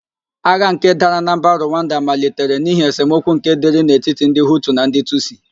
Agha nke dara na mba Ruwanda malitere n'ihi esemokwu nke dịrị n'etiti ndị Hutu na ndì Tusi.